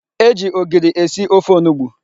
E ji ogiri esi ofe onugbu.